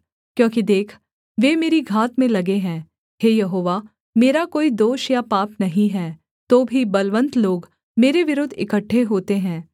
क्योंकि देख वे मेरी घात में लगे हैं हे यहोवा मेरा कोई दोष या पाप नहीं है तो भी बलवन्त लोग मेरे विरुद्ध इकट्ठे होते हैं